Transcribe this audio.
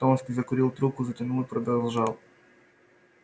томский закурил трубку затянул и продолжал